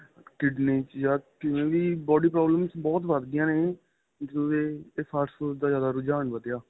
kidney ਚ ਯਾ ਕਿਵੇਂ ਵੀ body problem ਬਹੁਤ ਵੱਧ ਦੀਆਂ ਨੇ ਜਿਵੇਂ fast food ਦਾ ਰੁਝਾਨ ਵਧਿਆਂ